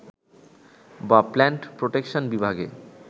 বা plant protection বিভাগে